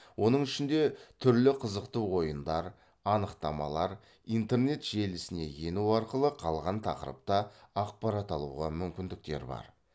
оның ішінде түрлі қызықты ойындар анықтамалар интернет желісіне ену арқылы қалған тақырыпта ақпарат алуға мүмкіндіктер бар